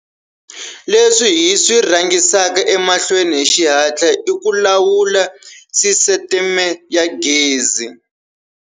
Leswi hi swi rhangisaka emahlweni hi xihatla i ku lawula sisiteme ya gezi.